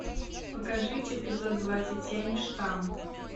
покажи эпизод двадцать семь штамм